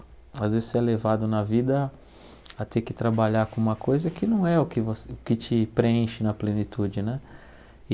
Às vezes você é levado na vida a ter que trabalhar com uma coisa que não é o que você o que te preenche na plenitude, né?